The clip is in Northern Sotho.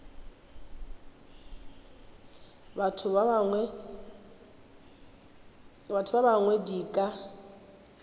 batho ba bangwe di ka